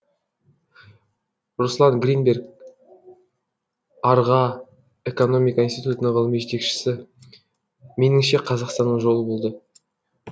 руслан гринберг арға экономика институтының ғылыми жетекшісі меніңше қазақстанның жолы болды